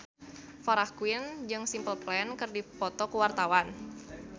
Farah Quinn jeung Simple Plan keur dipoto ku wartawan